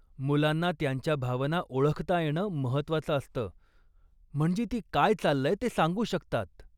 मुलांना त्यांच्या भावना ओळखता येणं महत्त्वाचं असतं, म्हणजे ती काय चाललंय ते सांगू शकतात.